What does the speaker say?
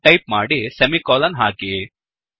ಎಂದು ಟೈಪ್ ಮಾಡಿ ಸೆಮಿಕೋಲನ್ ಹಾಕಿ